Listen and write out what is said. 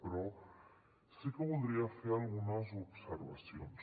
però sí que voldria fer algunes observacions